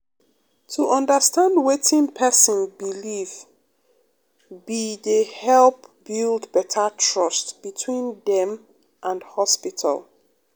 um to understand wetin um pesin believe be dey help build beta trust between dem and hospital.